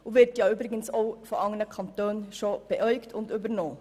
Es wird übrigens auch von anderen Kantonen angeschaut und übernommen.